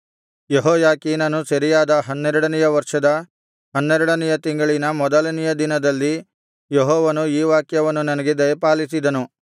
ಯೆಹೋಯಾಖೀನನು ಸೆರೆಯಾದ ಹನ್ನೆರಡನೆಯ ವರ್ಷದ ಹನ್ನೆರಡನೆಯ ತಿಂಗಳಿನ ಮೊದಲನೆಯ ದಿನದಲ್ಲಿ ಯೆಹೋವನು ಈ ವಾಕ್ಯವನ್ನು ನನಗೆ ದಯಪಾಲಿಸಿದನು ನರಪುತ್ರನೇ ನೀನು ಐಗುಪ್ತದ